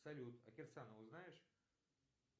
салют а кирсанову знаешь